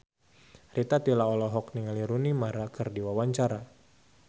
Rita Tila olohok ningali Rooney Mara keur diwawancara